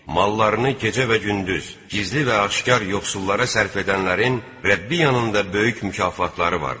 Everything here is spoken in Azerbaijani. Mallarını gecə və gündüz, gizli və aşkar yoxsullara sərf edənlərin Rəbbi yanında böyük mükafatları vardır.